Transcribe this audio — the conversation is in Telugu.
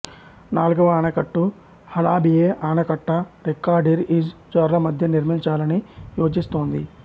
నాల్గవ ఆనకట్ట హలాబియే ఆనకట్ట రక్కాడీర్ ఇజ్ జోర్లమధ్య నిర్మించాలని యోచిస్తోంది